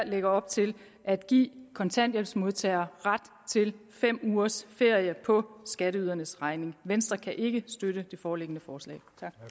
lægger op til at give kontanthjælpsmodtagere ret til fem ugers ferie på skatteydernes regning venstre kan ikke støtte det foreliggende forslag